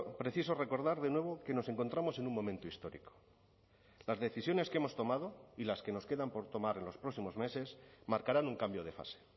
preciso recordar de nuevo que nos encontramos en un momento histórico las decisiones que hemos tomado y las que nos quedan por tomar en los próximos meses marcarán un cambio de fase